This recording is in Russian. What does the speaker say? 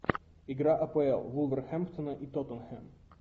игра апл вулверхэмптона и тоттенхэм